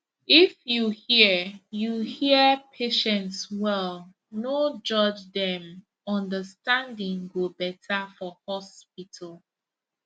if you hear you hear patients well no judge dem understanding go better for hospital